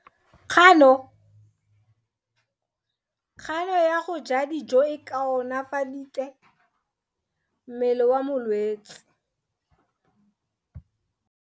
Kgano ya go ja dijo e koafaditse mmele wa molwetse.